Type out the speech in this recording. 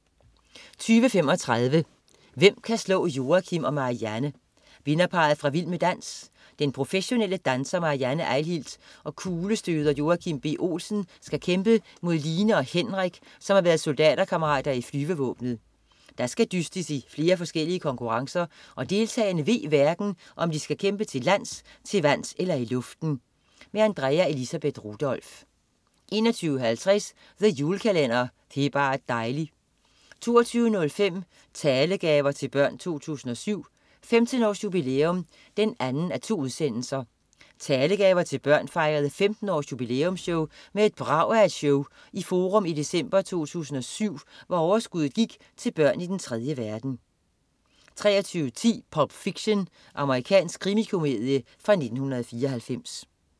20.35 Hvem kan slå Joachim og Marianne? Vinderparret fra "Vild med dans", den professionelle danser Marianne Eihilt og kuglestøder Joachim B. Olsen, skal kæmpe mod Line og Henrik, som har været soldaterkammerater i flyvevåbenet. Der skal dystes i flere forskellige konkurrencer, og deltagerne ved hverken, om de skal kæmpe til lands, til vands eller i luften. Andrea Elisabeth Rudolph 21.50 The Julekalender. Det er bar' dejli' 22.05 Talegaver til Børn 2007. 15 års jubilæum 2:2. Talegaver til Børn fejrede 15 års jubilæumsshow med et brag af et show i Forum i december '07, hvor overskuddet gik til børn i den 3. verden 23.10 Pulp Fiction. Amerikansk krimikomedie fra 1994